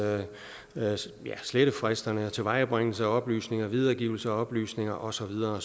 slettefristerne tilvejebringelse af oplysninger videregivelse af oplysninger og så videre